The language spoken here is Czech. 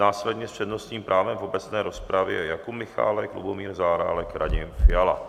Následně s přednostním právem v obecné rozpravě Jakub Michálek, Lubomír Zaorálek, Radim Fiala.